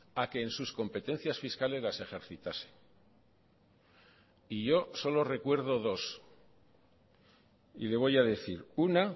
a que en sus competencias fiscales las ejercitase y yo solo recuerdo dos y le voy a decir una